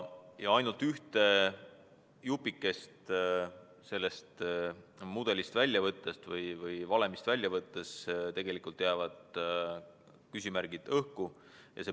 Ainult ühte jupikest sellest mudelist või valemist välja võttes jäävad küsimärgid tegelikult õhku.